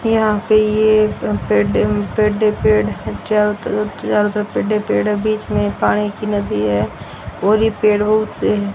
यहाँ पे ये पेड़-पेड़ है चारों तरह चारो तरफ पेड़ ही पेड़ है और बीच मे पानी की नदी है और ये पेड़ रोड से --